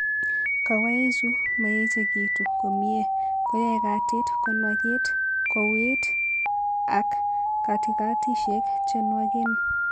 Kawaichu maechekitu komnyie ko yae katit ko nwagit, ko wiit ak katikatishek che nwagen.